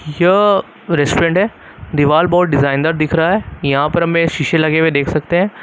यह रेस्टोरेंट है दीवाल बहुत डिजाइन दार दिख रहा है यहां पर हमें शीशे लगे हुए देख सकते हैं।